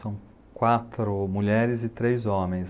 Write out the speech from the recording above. São quatro mulheres e três homens.